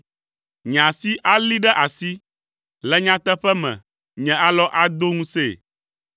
Nye asi alée ɖe asi, le nyateƒe me, nye alɔ ado ŋusẽe.